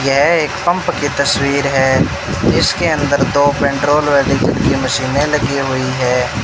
यह एक पंप की तस्वीर है इसके अंदर दो पेट्रोल वाली की मशीने लगी हुई है।